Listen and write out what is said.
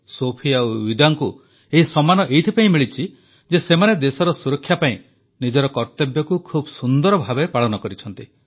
ସୋଫି ଓ ୱିଦାଙ୍କୁ ଏହି ସମ୍ମାନ ଏଥିପାଇଁ ମିଳିଛି ଯେ ସେମାନେ ଦେଶର ସୁରକ୍ଷା ପାଇଁ ନିଜର କର୍ତ୍ତବ୍ୟକୁ ଖୁବ୍ ସୁନ୍ଦର ଭାବେ ପାଳନ କରିଛନ୍ତି